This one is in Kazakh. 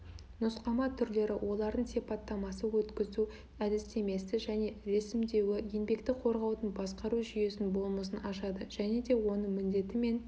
нұсқама түрлері олардың сипаттамасы өткізу әдістемесі және ресімдеуі еңбекті қорғаудың басқару жүйесінің болмысын ашады және де оның міндеті мен